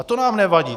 A to nám nevadí.